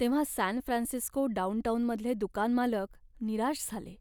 तेव्हा San Francisco डाउनटाउनमधले दुकान मालक निराश झाले.